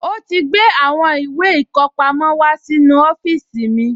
Ó ti gbé àwọn ìwé ìkọpamọ́ wá sínú ọ́fíìsì mi